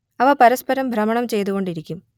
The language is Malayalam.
അവ പരസ്പരം ഭ്രമണം ചെയ്തുകൊണ്ടിരിക്കും